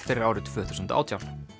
fyrir árið tvö þúsund og átján